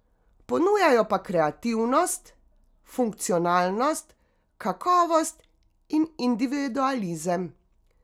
Ponujajo pa kreativnost, funkcionalnost, kakovost in individualizem.